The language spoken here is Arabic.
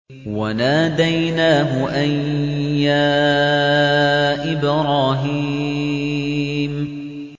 وَنَادَيْنَاهُ أَن يَا إِبْرَاهِيمُ